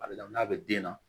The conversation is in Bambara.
A bɛ la n'a bɛ den na